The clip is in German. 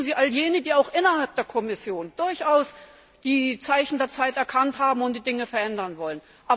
Unterstützen Sie all jene, die auch innerhalb der Kommission durchaus die Zeichen der Zeit erkannt haben und die Dinge verändern wollen.